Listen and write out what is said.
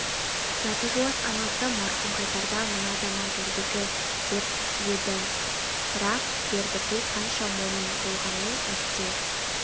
заты жуас анасы марқұм қайтарда мына заман зордікі деп еді бірақ бердіқұл қанша момын болғанмен әсте